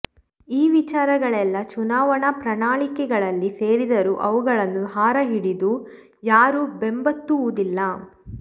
ಈ ವಿಚಾರಗಳೆಲ್ಲಾ ಚುನಾವಣಾ ಪ್ರಣಾಳಿಕೆಗಳಲ್ಲಿ ಸೇರಿದರೂ ಅವುಗಳನ್ನು ಹಾರ ಹಿಡಿದು ಯಾರೂ ಬೆಂಬತ್ತುವುದಿಲ್ಲ